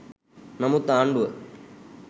නමුත් ආණ්ඩුව